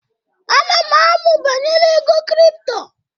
Ana m amụ banyere ego kripto.